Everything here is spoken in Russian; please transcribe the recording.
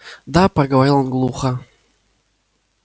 да поговорил он глухо